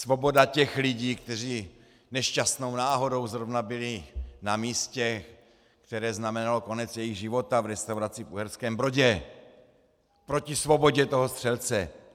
Svoboda těch lidí, kteří nešťastnou náhodou zrovna byli na místě, které znamenalo konec jejich života, v restauraci v Uherském Brodě, proti svobodě toho střelce.